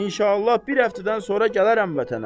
İnşallah bir həftədən sonra gələrəm vətənə.